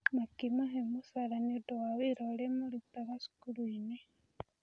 Makĩmahe mũcara nĩ ũndũ wa wĩra ũrĩa marutaga cukuru-inĩ.